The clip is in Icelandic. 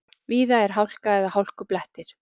Víða er hálka eða hálkublettir